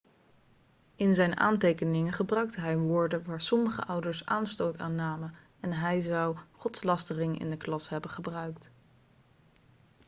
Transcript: in zijn aantekeningen gebruikte hij woorden waar sommige ouders aanstoot aan namen en hij zou godslastering in de klas hebben gebruikt